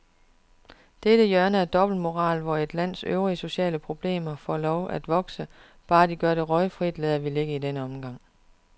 Dette hjørne af dobbeltmoral, hvor et lands øvrige sociale problemer får lov at vokse, bare de gør det røgfrit, lader vi ligge i denne omgang.